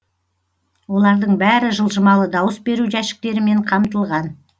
олардың бәрі жылжымалы дауыс беру жәшіктерімен қамтылған